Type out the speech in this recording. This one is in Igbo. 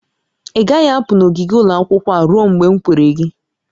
Ị gaghị apụ n'ogige ụlọ akwụkwọ a ruo mgbe m kwere gị!